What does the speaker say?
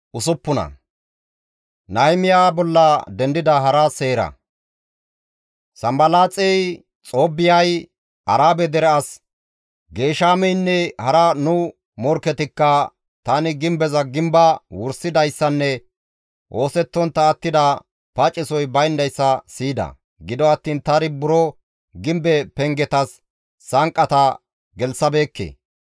Sanbalaaxey, Xoobbiyay, Arabe dere as Geeshameynne hara nu morkketikka tani gimbeza gimbaa wursidayssanne oosettontta attida pacesoy bayndayssa siyida; gido attiin tani buro gimbe pengetas sanqqata gelththabeekke.